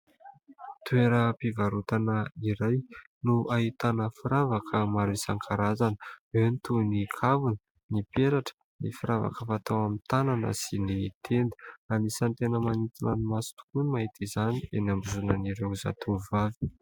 Toeram-pivarotana iray no ahitana firavaka maro isankarazany. Eny toy ny kavina, ny peratra, ny firavaka fatao amin'ny tanana sy ny tenda. Anisan'ny tena manintona ny maso tokoa ny mahita izany eny ambozonan'ireo zatovovavy.